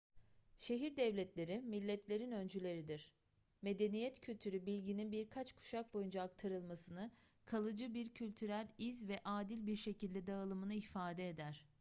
şehir devletleri milletlerin öncüleridir medeniyet kültürü bilginin birkaç kuşak boyunca aktarılmasını kalıcı bir kültürel iz ve adil bir şekilde dağılımını ifade eder